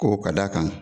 Ko ka d'a kan